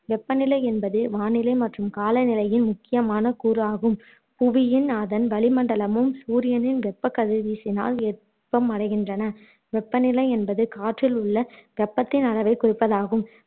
வெப்ப நிலை என்பது வானிலை மற்றும் காலநிலையின் முக்கியமான கூறு ஆகும் புவியும் அதன் வளி மண்டலமும் சூரியனின் வெப்ப கதிர்வீச்சினால் வெப்பம் அடைகின்றன வெப்ப நிலை என்பது காற்றில் உள்ள வெப்பத்தின் அளவை குறிப்பதாகும்